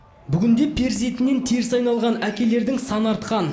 бүгінде перзентінен теріс айналған әкелердің саны артқан